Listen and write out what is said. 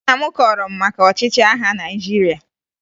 Nna m kọọrọ m maka ọchịchị agha Naịjirịa